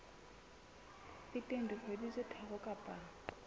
feteng dikgwedi tse tharo kapa